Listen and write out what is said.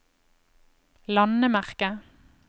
landemerke